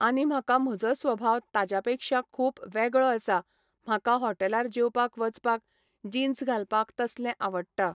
आनी म्हाका म्हजो स्वभाव ताज्या पेक्षा खूब वेगळो आसा म्हाका हॉटेलार जेवपाक वचपाक जिन्स घालपाक तसलें आवडटा